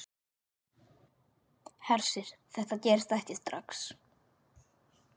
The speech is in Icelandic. Hersir: Þetta gerist ekki strax?